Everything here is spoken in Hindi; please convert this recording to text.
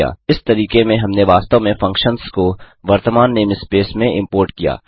इस तरीके में हमने वास्तव में फंक्शन्स को वर्तमान नेम स्पेस में इम्पोर्ट किया